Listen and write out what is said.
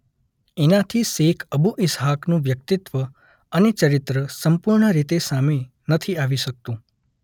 એનાથી Sheikh Abu ઇસ્હાકનું વ્યકિતત્વ અને ચરિત્ર સંપૂર્ણ રીતે સામે નથી આવી શકતું.